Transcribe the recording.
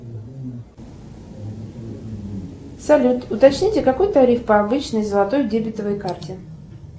салют уточните какой тариф по обычной золотой дебетовой карте